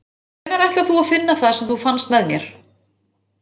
Hvenær ætlar þú að finna það sem þú fannst með mér?